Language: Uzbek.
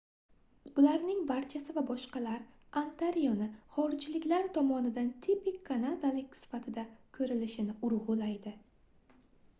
bularning barchasi va boshqalar ontarioni xorijliklar tomonidan tipik kanadalik sifatida koʻrilishini urgʻulaydi